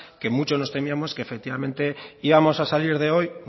que muchos nos temíamos que efectivamente íbamos a salir de hoy